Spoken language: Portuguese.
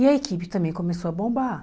E a equipe também começou a bombar.